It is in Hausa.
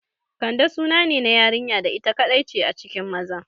Kande sunane na yarinya da ita kaɗai ce a cikin maza